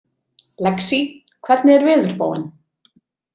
Lexí, hvernig er veðurspáin?